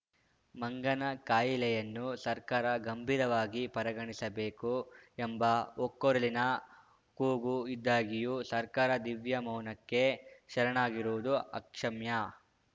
ಮಂಗನ ಕಾಯಿಲೆಯನ್ನು ಸರ್ಕಾರ ಗಂಭೀರವಾಗಿ ಪರಿಗಣಿಸಬೇಕು ಎಂಬ ಒಕ್ಕೊರಲಿನ ಕೂಗು ಇದ್ದಾಗಿಯೂ ಸರ್ಕಾರ ದಿವ್ಯ ಮೌನಕ್ಕೆ ಶರಣಾಗಿರುವುದು ಅಕ್ಷಮ್ಯ